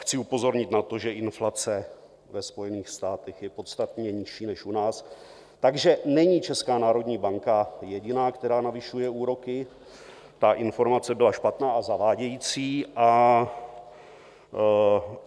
Chci upozornit na to, že inflace ve Spojených státech je podstatně nižší než u nás, takže není Česká národní banka jediná, která navyšuje úroky, ta informace byla špatná a zavádějící.